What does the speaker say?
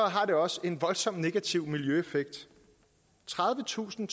har det også en voldsom negativ miljøeffekt tredivetusind